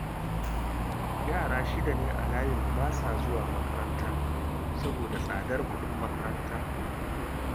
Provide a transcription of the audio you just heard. Yara shida ne a layinmu ba sa zuwa makaranta, saboda tsadar kuɗin makaranta